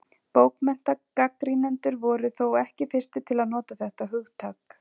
Bókmenntagagnrýnendur voru þó ekki fyrstir til að nota þetta hugtak.